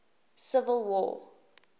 civil war